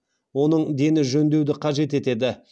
оның дені жөндеуді қажет етеді